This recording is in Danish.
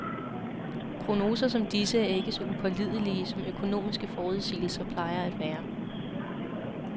Prognoser som disse er ikke så upålidelige, som økonomiske forudsigelser plejer at være.